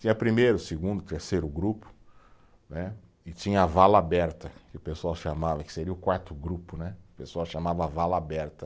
Tinha primeiro, segundo, terceiro grupo, né, e tinha a vala aberta, que o pessoal chamava, que seria o quarto grupo né, o pessoal chamava vala aberta.